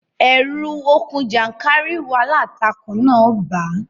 Ẹ̀rù okùn jàńkàrìwọ̀ aláǹtakùn náà ń bà á